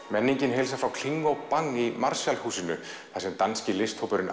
menningin heilsar frá kling og Bang í Marshall húsinu þar sem danski